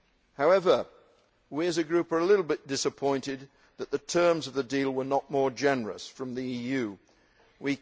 However, we as a group are a little bit disappointed that the terms of the deal were not more generous from the EU side.